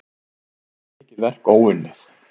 Enn sé mikið verk óunnið.